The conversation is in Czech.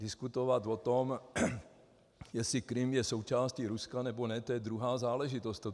Diskutovat o tom, jestli Krym je součástí Ruska, nebo ne, to je druhá záležitost.